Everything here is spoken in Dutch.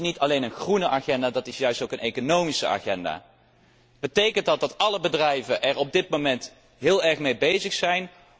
Dat is niet alleen een groene agenda, dat is juist ook een economische agenda. Betekent dat dat alle bedrijven er op dit moment heel erg mee bezig zijn?